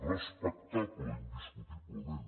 respectable indiscutiblement